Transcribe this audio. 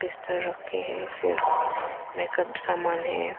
रखे हैं फिर मेकप समान हैं।